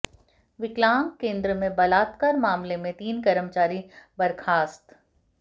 विकलांग केंद्र में बलात्कार मामले में तीन कर्मचारी बर्खास्त